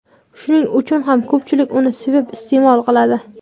Shuning uchun ham ko‘pchilik uni sevib iste’mol qiladi.